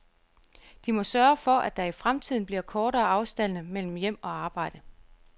De må sørge for, at der i fremtiden bliver kortere afstande mellem hjem og arbejde.